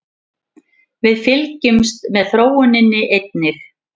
Við fylgjumst með þróuninni einnig